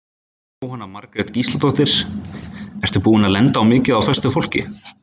Jóhanna Margrét Gísladóttir: Ertu búinn að lenda á mikið af föstu fólki?